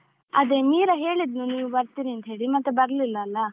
ಅದೇ ಮೀರಾ ಹೇಳಿದ್ಲು ನೀವು ಬರ್ತೀರಿ ಅಂತ ಹೇಳಿ, ಮತ್ತೆ ಬರ್ಲಿಲ್ಲ ಅಲ್ಲಾ?